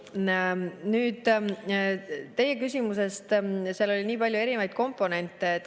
Nüüd teie küsimusest, seal oli nii palju erinevaid komponente.